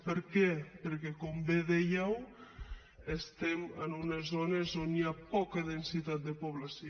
per què perquè com bé dèieu estem en unes zones on hi ha poca densitat de població